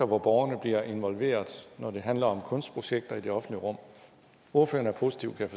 hvor borgerne bliver involveret når det handler om kunstprojekter i det offentlige rum ordføreren er positiv kan